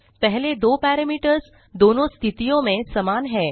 पहले दो पैरामीटरों दोनोँ स्थितियो में सामान हैं